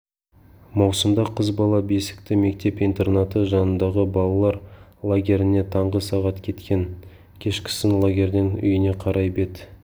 маусымда қыз бала бесікті мектеп-интернаты жанындағы балалар лагеріне таңғы сағат кеткен кешкісін лагерден үйіне қарай бет